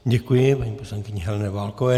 Děkuji paní poslankyni Heleně Válkové.